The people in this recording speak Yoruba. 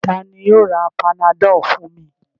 Ta ni yóò ra Panadol fún mi?